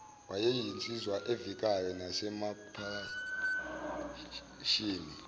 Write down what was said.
wayeyinsizwa evikayo nasemaphashini